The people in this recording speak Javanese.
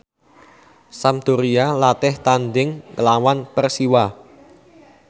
Sampdoria latih tandhing nglawan Persiwa